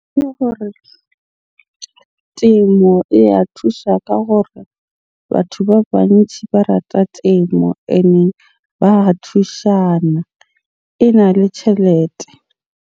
Ke gore temo e ya thusha ka gore batho ba bantjhi ba rata temo. Ene ba a thushana, ena le tjhelete.